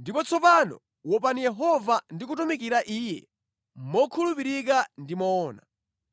“Ndipo tsopano wopani Yehova ndi kumutumikira Iye mokhulupirika ndi moona.